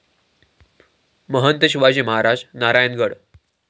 Mahant Shivaji Maharaj Narayangarh